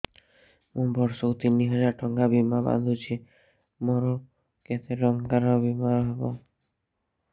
ମୁ ବର୍ଷ କୁ ତିନି ହଜାର ଟଙ୍କା ବୀମା ବାନ୍ଧୁଛି ମୋର କେତେ ଟଙ୍କାର ବୀମା ହବ